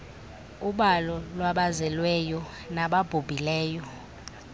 ubalo lwabazelweyo nababhubhileyo